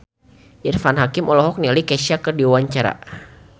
Irfan Hakim olohok ningali Kesha keur diwawancara